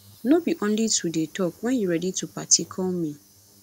no be only to dey talk wen you ready to party call me